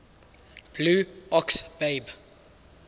blue ox babe